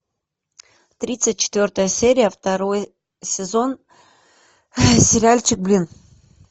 тридцать четвертая серия второй сезон сериальчик блин